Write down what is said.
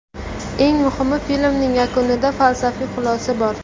Eng muhimi, filmning yakunida falsafiy xulosa bor.